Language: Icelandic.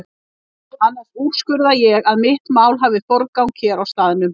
Annars úrskurða ég að mitt mál hafi forgang hér á staðnum.